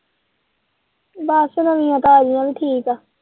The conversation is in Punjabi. ਬਸ ਨਵੀਆਂ ਤਾਜ਼ੀਆਂ ਵੀ ਠੀਕ ਏ।